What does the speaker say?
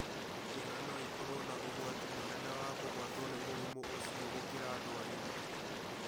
Ciana no ikorũo na ũgwati mũnene wa kũgwatwo nĩ mũrimũ ũcio gũkĩra andũ agima.